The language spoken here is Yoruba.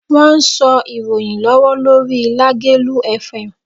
Wọ́n sọ ìròyìn lọ́wọ́ lórí Lágelú Fm.